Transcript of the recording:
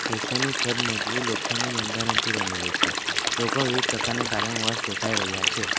Session ની છત મજવુ લોખંડની બંધારણથી બનેલી છે લોકો વિવિધ પ્રકારના દેખાય રહ્યા છે.